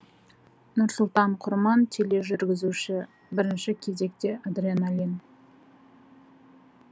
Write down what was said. нұрсұлтан құрман тележүргізуші бірінші кезекте адреналин